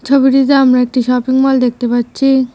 ছবিটিতে আমরা একটি শপিং মল দেখতে পাচ্ছি।